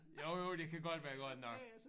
Jo jo det kan godt være godt nok